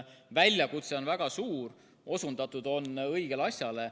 Väljakutse on väga suur, osundatud on õigele asjale.